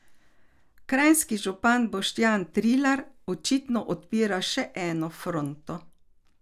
Kranjski župan Boštjan Trilar očitno odpira še eno fronto.